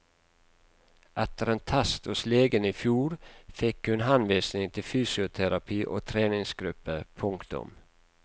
Etter en test hos legen i fjor fikk hun henvisning til fysioterapi og treningsgruppe. punktum